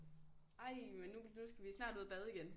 Ej men nu nu skal vi snart ud og bade igen